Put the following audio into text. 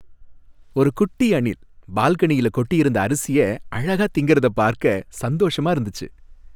ஒரு குட்டி அணில் பால்கனியில கொட்டியிருந்த அரிசிய அழகா திங்கிறத பார்க்க சந்தோஷமா இருந்துச்சு.